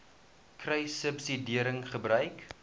kruissubsidiëringgebruik